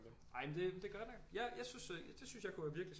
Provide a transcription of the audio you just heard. Ej men det det er godt nok jeg jeg synes det jeg synes det kunne være virkelig